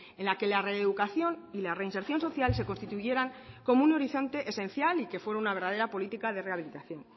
en la que la reeducación y la reinserción social se constituyeran como un horizonte esencial y que fuera una verdadera política de rehabilitación